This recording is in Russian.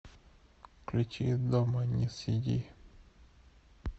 включи дома не сиди